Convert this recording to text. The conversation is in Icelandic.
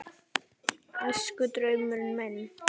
Æskudraumurinn minn?